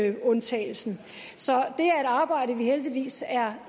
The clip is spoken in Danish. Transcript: inuitundtagelsen så det er et arbejde vi heldigvis er